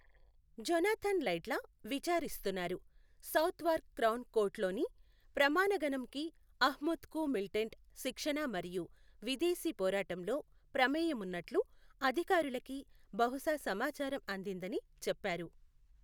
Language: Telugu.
జొనాథన్ లైడ్లా, విచారిస్తున్నారు, సౌత్వార్క్ క్రౌన్ కోర్ట్లోని ప్రమాణగణంకి అహ్మద్కు మిలిటెంట్ శిక్షణ మరియు విదేశీ పోరాటంలో ప్రమేయం ఉన్నట్లు అధికారులకి బహుశా సమాచారం అందిందని చెప్పారు.